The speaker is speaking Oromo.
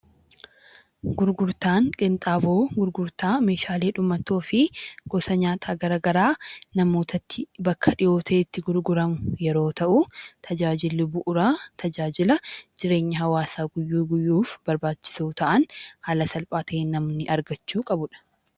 Gurgurtaan qinxaaboo gurgurtaa meeshaalee dhumatoo fi gosa nyaataa gara garaa namootatti bakka dhiyoo ta'etti gurguramu yeroo ta'u, tajaajiilli bu'uuraa tajaajila jireenya hawaasaa guyyuu guyyuuf barbaachisoo ta'an haala salphaa ta'een namni argachuu qabudha.